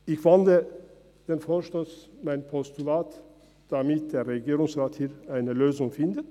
Ich wandle meinen Vorstoss in ein Postulat, damit der Regierungsrat hier eine Lösung findet.